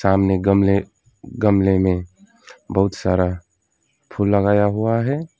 सामने गमले गमले में बहुत सारा फूल लगाया हुआ हैं।